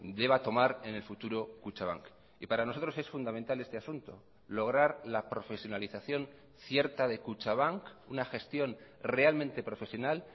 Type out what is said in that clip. deba tomar en el futuro kutxabank y para nosotros es fundamental este asunto lograr la profesionalización cierta de kutxabank una gestión realmente profesional